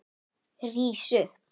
Rís upp.